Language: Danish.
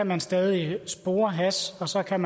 man stadig spore hash og så kan